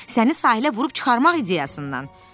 Səni sahilə vurub çıxarmaq ideyasından?